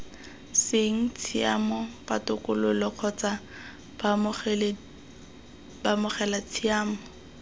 seng tshiamo ditokololo kgotsa baamogelatshiamelo